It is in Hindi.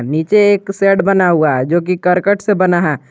नीचे एक शेड बना हुआ है जो की करकट से बना है।